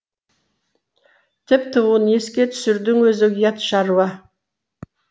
тіпті оны еске түсірудің өзі ұят шаруа